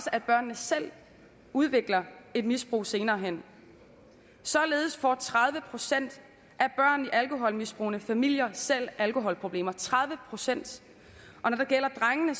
at børnene selv udvikler et misbrug senere hen således får tredive procent af børn i alkoholmisbrugende familier selv alkoholproblemer tredive procent og når det gælder drengene